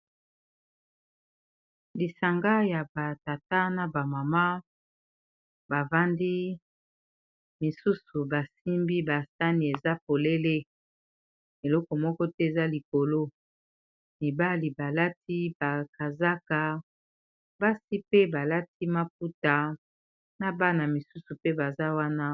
Lisanga ya ba tata na ba mama ba vandi, misusu ba simbi ba sani eza polele, eloko moko te eza likolo . Mibali ba lati ba kazaka, basi pe ba lati maputa na bana misusu pe baza wana .